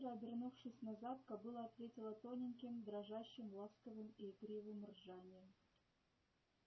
быстро обернувшись назад кобыла ответила тоненьким дрожащим ласковым и игривым ржанием